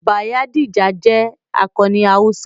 Bayadija jẹ́ akọni Hausa.